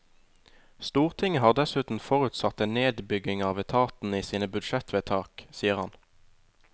Stortinget har dessuten forutsatt en nedbygging av etaten i sine budsjettvedtak, sier han.